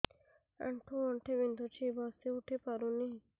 ଆଣ୍ଠୁ ଗଣ୍ଠି ବିନ୍ଧୁଛି ବସିଉଠି ପାରୁନି